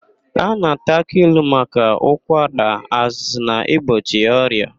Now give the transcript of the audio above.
A na-ata aki ilu maka ụkwara, azụzụ na igbochi ọrịa.